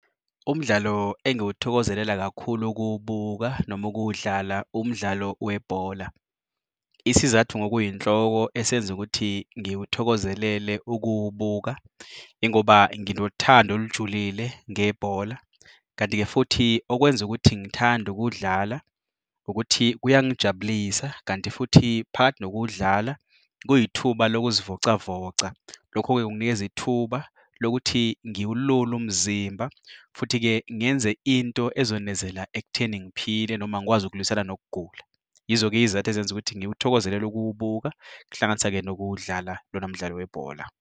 Umdlalo engiwuthokozelela kakhulu ukuwubuka noma ukuwudlala, umdlalo webhola. Isizathu ngokuyinhloko esenza ukuthi ngiwuthokozelele ukuwubuka ingoba nginothando olujulile ngebhola, kanti-ke futhi okwenza ukuthi ngithande ukuwudlala ukuthi kuyangijabulisa kanti futhi phakathi nokuwudlala kuyithuba lokuzivocavoca. Lokho-ke kunginikeza ithuba lokuthi ngiwulule umzimba, futhi-ke ngenze into ezonezela ekutheni ngiphile noma ngikwazi ukulwisana nokugula. Yizo-ke iy'zathu ezenza ukuthi ngiwuthokozelele ukuwubuka, kuhlanganisa-ke nokuwudlala lona mdlalo webhola.